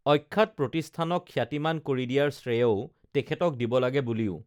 অখ্যাত প্ৰতিষ্ঠানক খ্যাতিমান কৰি দিয়াৰ শ্ৰেয়ও তেখেতক দিব লাগে বুলিও